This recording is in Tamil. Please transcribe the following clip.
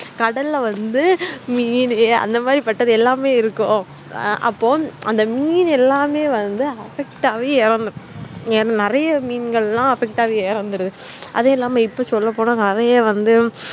கடல வந்துமீனு அந்த மாதிரிபட்டதெலாம்இருக்கும் அப்போ அந்த மீன் எல்லாமே வந்து affect ஆகிஇறந்திடும் நெறைய மீன்கள் affect ஆகி இறந்துருது அதெலாம் இப்போ சொல்ல போன்ன